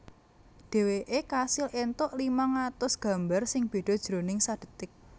Dhèwèké kasil éntuk limang atus gambar sing béda jroning sadhetik